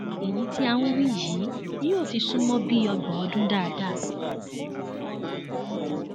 èyí tí à ń wí yìí yóò ti sún mọ bíi ọgbọn ọdún dáadáa